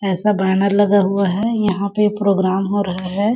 ऐसा बैनर लगा हुआ है यहाँ पे प्रोग्राम हो रहा हैं ।